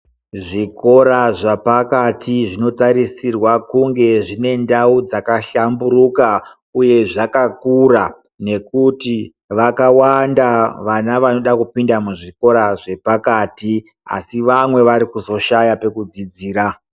Zvikora zvapakati zvinotarisirwa kunge zvinendau dzakahlamburuka, uye zvakakura nekuti vakawanda vana vanoda kupinda muzvikora zvepakati. Asi vamwe varikuzoshaya pekudzidzira.